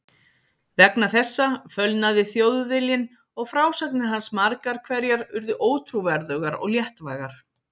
Vegna þessa fölnaði Þjóðviljinn og frásagnir hans margar hverjar urðu ótrúverðugar og léttvægar.